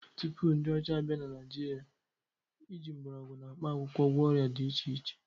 Tupu ndị ọcha abịa, ndị Naịjirịa ji mgbọrọgwụ na mkpa akwụkwọ gwọọ ọrịa dị iche iche